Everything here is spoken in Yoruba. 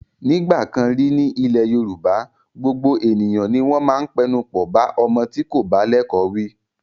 Nígbà kan rí ní ilẹ̀ Yorùbá, gbogbo ènìyàn ni wọ́n máa ń pẹnupọ̀ bá ọmọ tí kò bá lẹ́kọ̀ọ́ wí.